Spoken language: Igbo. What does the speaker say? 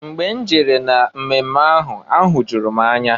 Mgbe m jere na mmemme ahụ, ahụjụrụ m anya.